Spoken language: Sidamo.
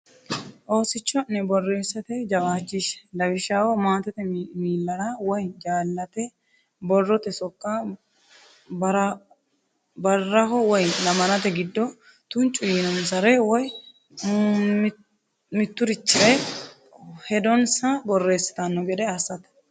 Oosicho’ne borreessate jawaachishshe; lawishshaho, maatete miillara woy jaallate borrote sokka, barraho woy lamalate giddo tuncu yiinonsare, woy mitturichire hedonsa borreessitanno gede assate.